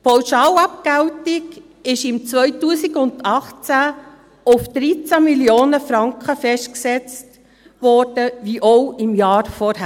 Die Pauschalabgeltung wurde im Jahr 2018 auf 13 Mio. Franken festgesetzt wie auch im Jahr zuvor.